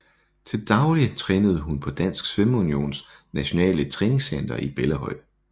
Til daglig trænede hun på Dansk Svømmeunions Nationale Træningscenter i Bellahøj